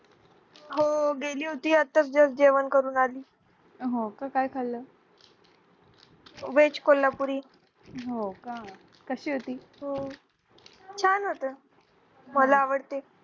हो गेली होती आता just जेवण करून आली veg कोल्हापुरी छान होती मला आवडते